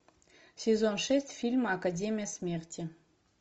сезон шесть фильм академия смерти